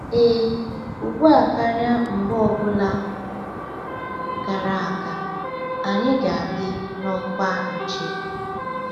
“Ee, ugbu a karịa mgbe ọ bụla gara aga, anyị ga-adị n’ọkwa nche!”